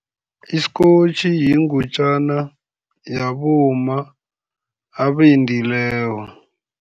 Isikotjhi yingutjana yabomma abendileko.